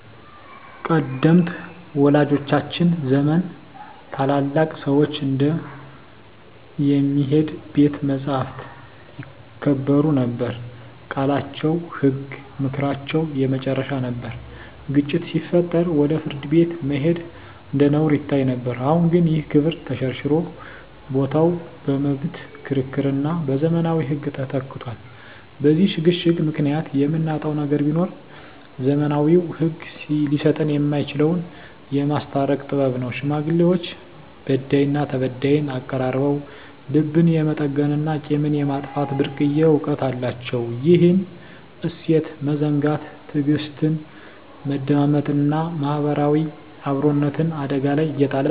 ቀደምት ወላጆቻችን ዘመን ታላላቅ ሰዎች እንደ "የሚሄድ ቤተ መጻሕፍት" ይከበሩ ነበር፤ ቃላቸው ህግ፣ ምክራቸው የመጨረሻ ነበር። ግጭት ሲፈጠር ወደ ፍርድ ቤት መሄድ እንደ ነውር ይታይ ነበር። አሁን ግን ይህ ክብር ተሸርሽሮ ቦታው በመብት ክርክርና በዘመናዊ ህግ ተተክቷል። በዚህ ሽግግር ምክንያት የምናጣው ነገር ቢኖር፣ ዘመናዊው ህግ ሊሰጠን የማይችለውን "የማስታረቅ ጥበብ" ነው። ሽማግሌዎች በዳይና ተበዳይን አቀራርበው ልብን የመጠገንና ቂምን የማጥፋት ብርቅዬ እውቀት አላቸው። ይህን እሴት መዘንጋት ትዕግስትን፣ መደማመጥንና ማህበራዊ አብሮነትን አደጋ ላይ እየጣለ ነው።